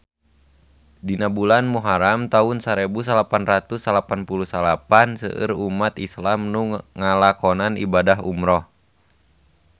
Dina bulan Muharam taun sarebu salapan ratus salapan puluh salapan seueur umat islam nu ngalakonan ibadah umrah